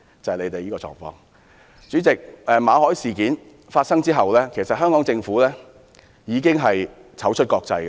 代理主席，馬凱事件發生後，香港政府已經"醜出國際"。